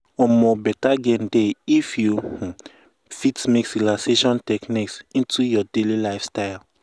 um better gain dey if you um fit mix relaxation techniques um into your daily lifestyle.